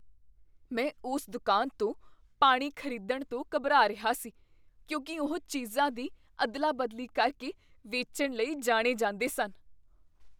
ਮੈਂ ਉਸ ਦੁਕਾਨ ਤੋਂ ਪਾਣੀ ਖ਼ਰੀਦਣ ਤੋਂ ਘਬਰਾ ਰਿਹਾ ਸੀ ਕਿਉਂਕਿ ਉਹ ਚੀਜ਼ਾਂ ਦੀ ਅਦਲਾ ਬਦਲੀ ਕਰਕੇ ਵੇਚਣ ਲਈ ਜਾਣੇ ਜਾਂਦੇ ਸਨ